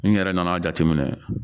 N yɛrɛ nana jateminɛ